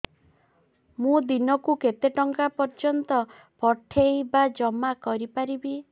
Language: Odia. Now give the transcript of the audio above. ମୁ ଦିନକୁ କେତେ ଟଙ୍କା ପର୍ଯ୍ୟନ୍ତ ପଠେଇ ବା ଜମା କରି ପାରିବି